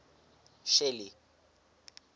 shelly